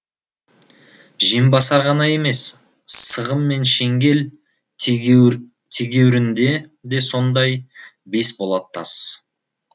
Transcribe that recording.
жембасар ғана емес сығым мен шеңгел тегеурінде де сондай бес болат тас